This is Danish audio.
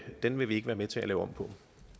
den vil vi ikke være med til at lave om på